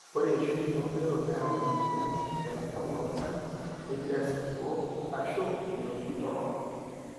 ore eishoi toondero neyau emueyian naitasapuk oltung'ani negiroo esapuko aashu enkiroshi torrono